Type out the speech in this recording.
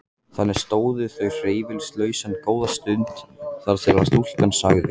Þannig stóðu þau hreyfingarlaus góða stund þar til stúlkan sagði